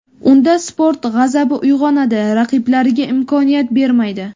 Unda sport g‘azabi uyg‘onadi, raqiblariga imkoniyat bermaydi.